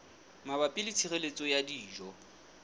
mabapi le tshireletso ya dijo